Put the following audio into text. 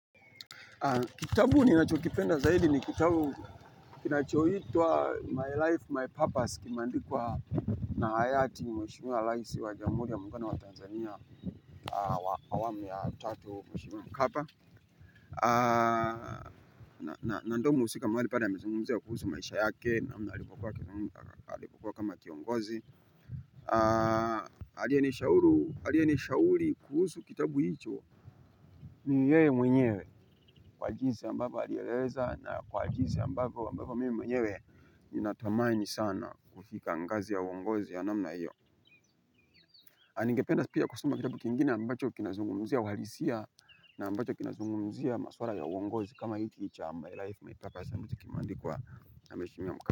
Kitabu ni nacho kipenda zaidi ni kitabu kinachoitwa My Life My Purpose kimandikwa na hayati mheshimiwa laisi wa jamuri ya mungano wa Tanzania. Awamu ya tatu mheshimiwa mkapa. Na ndo muhusika maari pale ya amezungumziya kuhusu maisha yake namna alipokuwa kama kiongozi. Aliye nishauli kuhusu kitabu hicho. Ni yeye mwenyewe kwa jinsi ambavyo alieleza na kwa jinsi ambavyo mimi mwenyewe. Ninatamani sana kufika ngazi ya uongozi ya namna hiyo na ningependa pia kusema kitabu kingine ambacho kinazungumzia uhalisia. Na ambacho kinazungumuzia maswara ya uongozi kama hiki cha my life my purpose ambacho kimeandikwa na mweshimiwa mkapa.